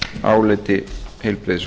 áliti heilbrigðis